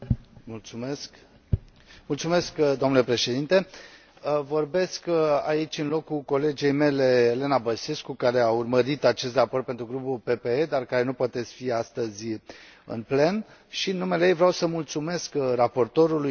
Vorbesc aici în locul colegei mele, Elena Băsescu, care a urmărit acest raport pentru grupul PPE, dar care nu poate fi astăzi în plen și, în numele ei, vreau să mulțumesc raportorului și celorlalți raportori din umbră pentru colaborarea foarte bună.